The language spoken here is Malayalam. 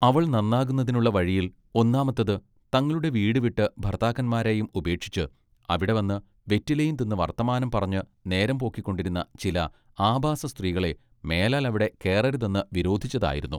അവൾ നന്നാകുന്നതിനുള്ള വഴിയിൽ ഒന്നാമത്തത് തങ്ങളുടെ വീടുവിട്ട് ഭർത്താക്കന്മാരെയും ഉപേക്ഷിച്ച് അവിടെ വന്ന് വെറ്റിലയും തിന്ന് വർത്തമാനം പറഞ്ഞ് നേരംപോക്കിക്കൊണ്ടിരുന്ന ചില ആഭാസ സ്ത്രീകളെ മേലാൽ അവിടെ കേറരുതെന്ന് വിരോധിച്ചതായിരുന്നു.